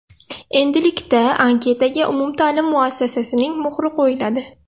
Endilikda anketaga umumta’lim muassasasining muhri qo‘yiladi.